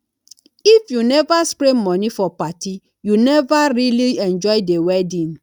if you never spray money for party you never really enjoy the wedding